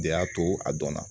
De y'a to a dɔnna